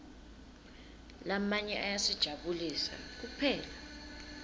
lamanye ayasijabulisa kuphela